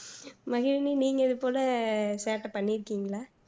மகிழினி நீங்க இது போல சேட்டை பண்ணீருக்கீங்களா